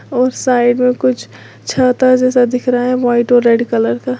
उस साइड में कुछ छाता जैसा दिख रहा है व्हाइट और रेड कलर का।